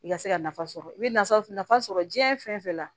I ka se ka nafa sɔrɔ i bɛ nafa sɔrɔ jiyɛn fɛn fɛn la